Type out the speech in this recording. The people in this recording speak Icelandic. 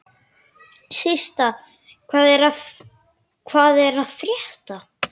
Systa, hvað er að frétta?